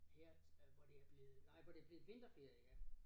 Her øh nej hvor det er blevet nej hvor det blevet vinterferie ja